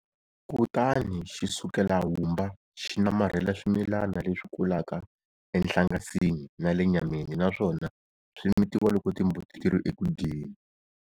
Kutani xi sukela humba xi namarhela swimilana leswi kulaka enhlangasini na le nyameni naswona swi mitiwa loko timbuti ti ri eku dyeni.